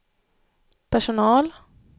personal